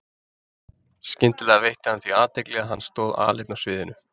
Skyndilega veitti hann því athygli að hann stóð aleinn á sviðinu.